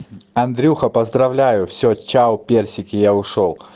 андрюха поздравляю всё чау персики я ушёл